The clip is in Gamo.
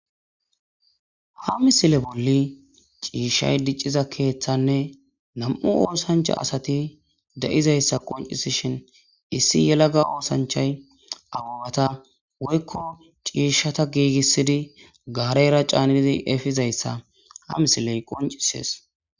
Ha misile bolli ciishshay dicciza keeththanne nam7u oosanchcha asathi de7izayssa qoncisishin issi yelaga oosanchchay ababatha woykko ciishshatha giigissidi gaareera caanidi efizayssa ha misiley qonccissees.